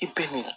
I bɛ min